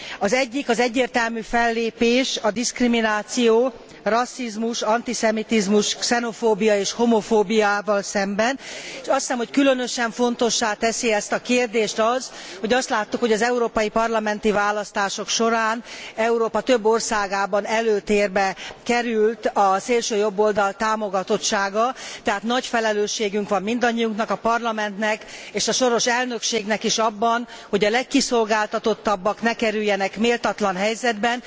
Az egyik az egyértelmű fellépés a diszkrimináció, rasszizmus, antiszemitizmus, xenofóbia és homofóbiával szemben, és azt hiszem, hogy különösen fontossá teszi ezt a kérdést az, hogy azt láttuk, hogy az Európai Parlamenti választások során Európa több országában előtérbe került a szélsőjobboldal támogatottsága, tehát nagy felelősségünk van mindannyiunknak, a Parlamentnek és a soros elnökségnek is abban, hogy a legkiszolgáltatottabbak ne kerüljenek méltatlan helyzetbe.